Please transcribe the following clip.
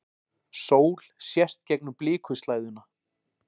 Sól sést gegnum blikuslæðuna.